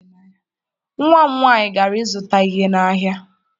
Nwa m nwaanyị gara ịzụta ihe n'ahịa.